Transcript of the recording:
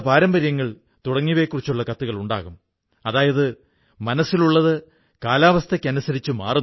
ഖാദി വെറും തുണി മാത്രമല്ലെന്നും അതൊരു തികഞ്ഞ ജീവിതപദ്ധതിതന്നെയാണെന്നും ബ്രൌണിനു മനസ്സിലായി